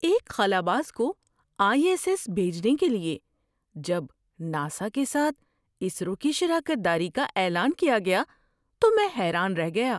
ایک خلاباز کو آئی ایس ایس بھیجنے کے لیے جب ناسا کے ساتھ اسرو کی شراکت داری کا اعلان کیا گیا تو میں حیران رہ گیا!